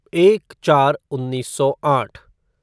एक चार उन्नीस सौ आठ